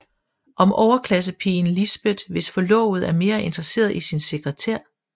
Om overklassepigen Lisbeth hvis forlovede er mere interesseret i sin sekretær